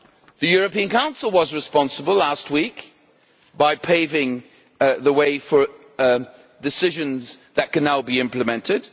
The European Council was responsible last week, by paving the way for decisions that can now be implemented.